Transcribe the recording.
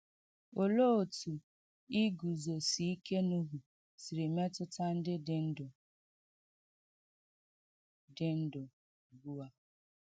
Olee otú iguzosi ike Nuhu siri metụta ndị dị ndụ dị ndụ ugbu a?